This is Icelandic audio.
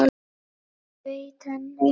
og veita henni.